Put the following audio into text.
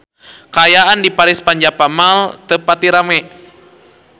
Kaayaan di Paris van Java Mall teu pati rame